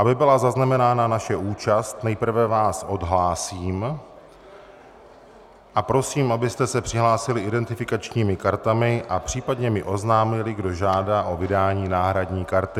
Aby byla zaznamenána naše účast, nejprve vás odhlásím a prosím, abyste se přihlásili identifikačními kartami a případně mi oznámili, kdo žádá o vydání náhradní karty.